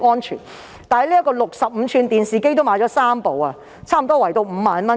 至於65吋電視機，他們亦購置了3台，每台約 50,000 元。